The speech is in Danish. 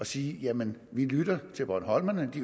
sige at man lytter til bornholmerne fordi